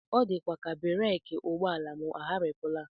Ọ dịkwa ka bereki ụgbọala m agharịpụla